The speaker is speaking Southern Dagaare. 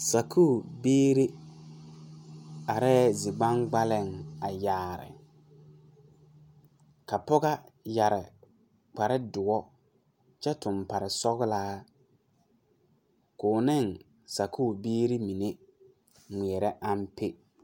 Sakuure biire areɛɛ zi gbangbaliŋ a yaare ka pɔgɔ yɛre kparedoɔ kyɛ tuŋ paresɔglaa koo ne sakuure biire mine ngmeɛɛrɛ ampe.